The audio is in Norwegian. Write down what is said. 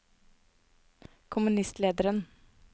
kommunistlederen